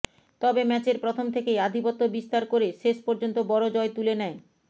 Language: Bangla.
তবে ম্যাচের প্রথম থেকেই আধিপত্য বিস্তার করে শেষ পর্যন্ত বড় জয় তুলে নেয়